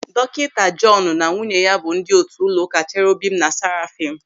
Dọkịta Jọọnu na nwunye ya bụ ndị otu ụlọụka Cherobim na Sàràfim.